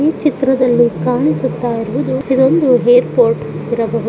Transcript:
ಈ ಚಿತ್ರದಲ್ಲಿ ಕಾಣಿಸುತ್ತಾ ಇರುವುದು ಇದೊಂದು ಏರ್ಪೋರ್ಟ್ ಇರಬಹುದು.